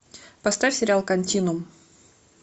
поставь сериал континуум